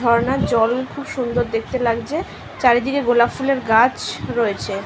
ঝর্ণার জল খুব সুন্দর দেখতে লাগছে। চারিদিকে গোলাপ ফুলের গাছ রয়েছে।